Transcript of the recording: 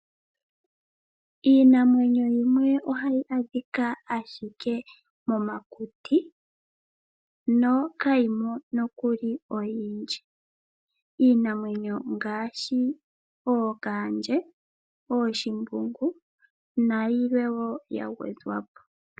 Iinamwenyo yimwe ohayi adhika ashike momakuti no kayimo nokuli oyindji, Iinamwenyo ngashi ookandje, ooshimbungu nayilwe wo yangwedhwapo.